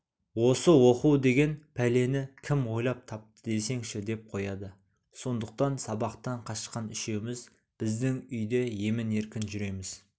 осы оқу деген пәлені кім ойлап тапты десеңші деп қояды сондықтан сабақтан қашқан үшеуміз біздің үйде емін-еркін жүреміз